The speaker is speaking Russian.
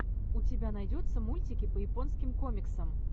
у тебя найдется мультики по японским комиксам